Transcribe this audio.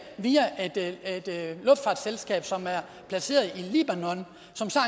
via et luftfartsselskab som er placeret i libanon